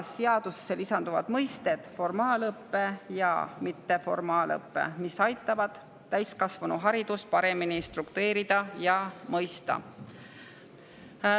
Seadusesse lisanduvad mõisted "formaalõpe" ja "mitteformaalõpe", mis aitavad täiskasvanuharidust paremini struktureerida ja mõista.